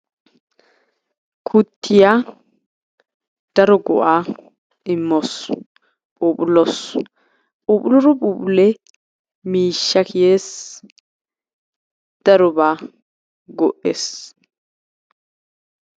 Kuttiya daro go'aa immawusu phuphulawusu puphulido phuphullee miishsha kiyees darobaa go'ees.